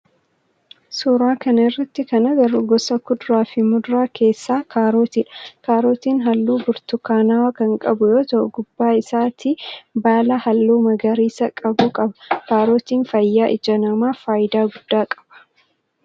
Suuraa kana irratti kan agarru gosa kuduraa fi muduraa keessaa kaarootidha. Kaarootin halluu burtukaanawaa kan qabu yoo ta'u gubbaa isaatii baala halluu magariisa qabu qaba. Kaarootin fayyaa ija namaaf faayidaa guddaa qaba.